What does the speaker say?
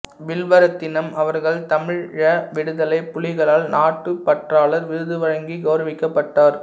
வில்வரத்தினம் அவர்கள் தமிழீழ விடுதலைப் புலிகளால் நாட்டுப்பற்றாளர் விருது வழங்கி கௌரவிக்கப்பட்டார்